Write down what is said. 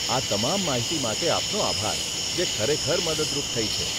આ તમામ માહિતી માટે આપનો આભાર, જે ખરેખર મદદરૂપ થઇ છે.